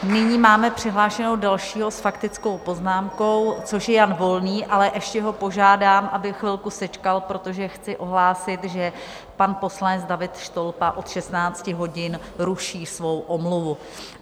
Nyní máme přihlášeného dalšího s faktickou poznámkou, což je Jan Volný, ale ještě ho požádám, aby chvilku sečkal, protože chci ohlásit, že pan poslanec David Štolpa od 16 hodin ruší svou omluvu.